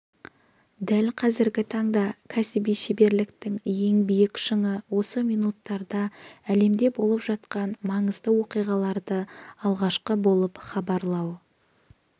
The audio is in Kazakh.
дәл қазіргі таңда кәсіби шеберліктің ең биік шыңы осы минуттарда әлемде болып жатқан маңызды оқиғаларды алғашқы болып хабарлау